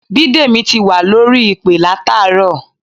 Bídèmí ti wà lórí ìpè látàárọ̀